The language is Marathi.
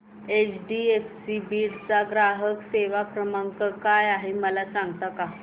एचडीएफसी बीड चा ग्राहक सेवा क्रमांक काय आहे मला सांगता का